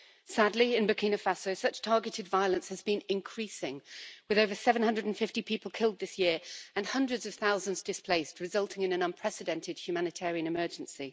Sadly in Burkina Faso such targeted violence has been increasing, with over 750 people killed this year and hundreds of thousands displaced, resulting in an unprecedented humanitarian emergency.